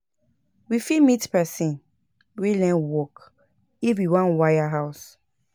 We fit meet person wey learn work if we wan wire house